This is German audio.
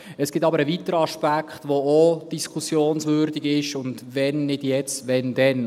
Es gibt aber einen weiteren Aspekt, der auch diskussionswürdig ist – und wenn nicht jetzt, wann dann?